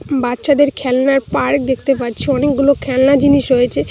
বাচ্চাদের খেলনার পার্ক দেখতে পাচ্ছি অনেকগুলো খেলনা জিনিস রয়েছে।